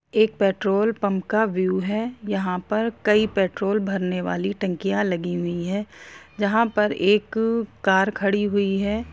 एक petrol pump का view यहा पर कई पेट्रोल भरने वाली टंकी लगी हुई है यहा पर एक कार खड़ी हुई है ।